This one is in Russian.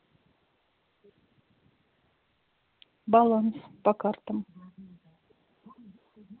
баланс по картам